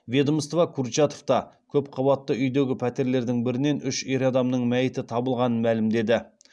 ведомство курчатовта көпқабатты үйдегі пәтерлердің бірінен үш ер адамның мәйіті табылғанын мәлімдеді